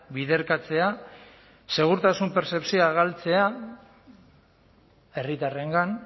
biderkatzea segurtasun pertzepzioa galtzea herritarrengan